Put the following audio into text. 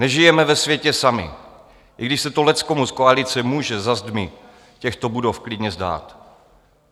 Nežijeme ve světě sami, i když se to leckomu z koalice může za zdmi těchto budov klidně zdát.